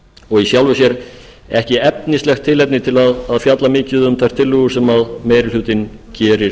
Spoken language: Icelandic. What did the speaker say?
og í sjálfu sér ekki efnislegt tilefni til að fjalla mikið um þær tillögur sem meiri hlutinn gerir